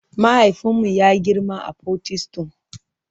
Mahaifinmu ya girma a Potistum.